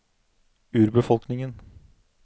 urbefolkningen